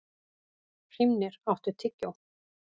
Hrímnir, áttu tyggjó?